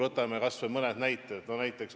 Võtame kas või mõned näited!